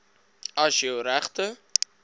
as jou regte